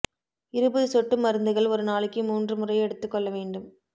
இருபது சொட்டு மருந்துகள் ஒரு நாளைக்கு மூன்று முறை எடுத்துக்கொள்ள வேண்டும்